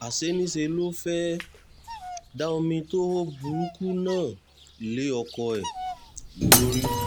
àṣé niṣẹ́ ló fẹ́ẹ́ da omi tó hó burúkú náà lé ọkọ ẹ̀ lórí